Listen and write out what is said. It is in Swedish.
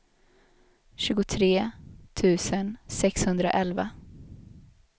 tjugotre tusen sexhundraelva